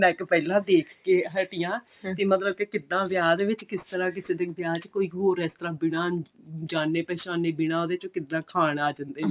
ਨੱਕ ਪਹਿਲਾਂ ਦੇਖ ਕੇ ਹਟੀ ਹਾਂ ਕਿ ਮਤਲਬ ਕਿ ਕਿੱਦਾਂ ਵਿਆਹ ਦੇ ਵਿੱਚ ਕਿਸ ਤਰ੍ਹਾਂ ਕਿਸੇ ਦੇ ਵਿੱਚ ਕੋਈ ਹੋਰ ਬਿਨਾ ਜਾਣੇ ਪਹਿਚਾਨੇ ਬਿਨਾਂ ਔਹਦੇ ਤੋਂ ਕਿੱਦਾਂ ਖਾਣ ਆ ਜਾਂਦੇ ਨੇ